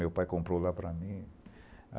Meu pai comprou lá para mim.